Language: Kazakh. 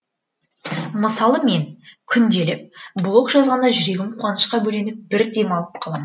мысалы мен күнделік блог жазғанда жүрегім қуанышқа бөленіп бір демалып қалам